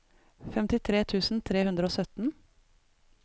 femtitre tusen tre hundre og sytten